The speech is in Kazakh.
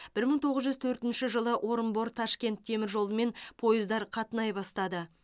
бір мың тоғыз жүз төртінші жылы орынбор ташкент теміржолымен пойыздар қатынай бастады